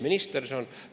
Mis minister see on?